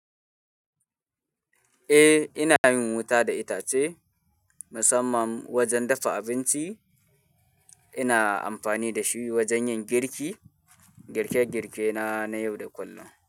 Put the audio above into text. Eh, ina yin wuta da itace musamman wajen dafa abinci. Ina amfani da shi wajen yin girki, girke girke na yau da kullum.